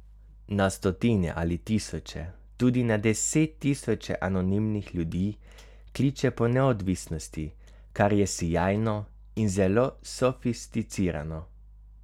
Na stotine ali tisoče, tudi na desettisoče anonimnih ljudi kliče po neodvisnosti, kar je sijajno in zelo sofisticirano.